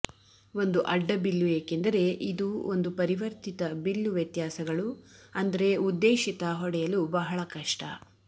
ಒಂದು ಅಡ್ಡಬಿಲ್ಲು ಏಕೆಂದರೆ ಇದು ಒಂದು ಪರಿವರ್ತಿತ ಬಿಲ್ಲು ವ್ಯತ್ಯಾಸಗಳು ಅಂದರೆ ಉದ್ದೇಶಿತ ಹೊಡೆಯಲು ಬಹಳ ಕಷ್ಟ